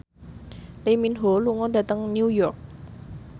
Lee Min Ho lunga dhateng New York